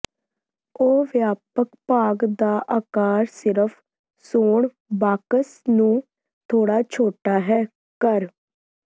ਉਹ ਵਿਆਪਕ ਭਾਗ ਦਾ ਆਕਾਰ ਸਿਰਫ ਸੌਣ ਬਾਕਸ ਨੂੰ ਥੋੜ੍ਹਾ ਛੋਟਾ ਹੈ ਕਰ